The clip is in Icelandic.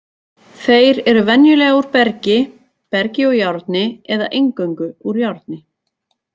Þeir eru venjulega úr bergi, bergi og járni eða eingöngu úr járni.